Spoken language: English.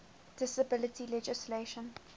disability legislation